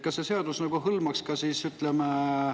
Kas see muudatus hõlmaks ka seda?